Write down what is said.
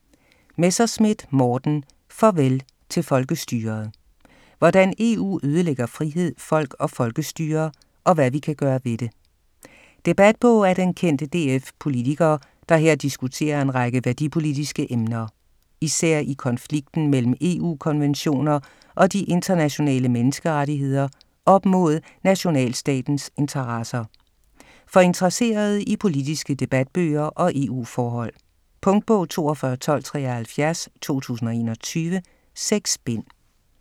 Messerschmidt, Morten: Farvel til folkestyret: hvordan EU ødelægger frihed, folk og folkestyre - og hvad vi kan gøre ved det Debatbog af den kendte DF-politiker, der her diskuterer en række værdipolitiske emner. Især i konflikten mellem EU-konventioner og de internationale menneskerettigheder op mod nationalstatens interesser. For interesserede i politiske debatbøger og EU-forhold. Punktbog 421273 2021. 6 bind.